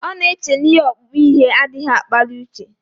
Ọ na-eche na ihe ọkpụkpụ ihe adịghị akpali uche